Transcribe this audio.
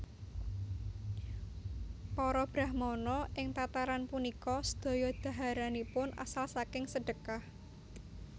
Para brahmana ing tataran punika sedaya dhaharanipun asal saking sedhekah